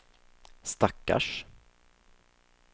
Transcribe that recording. stackars